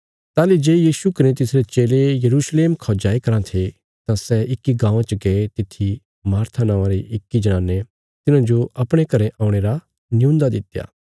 ताहली जे यीशु कने तिसरे चेले यरूशलेम खौ जाई कराँ थे तां सै इक्की गाँवां च गये तित्थी मार्था नौआं री इक्की जनाने तिन्हाजो अपणे घरें औणे रा नियून्दा दित्या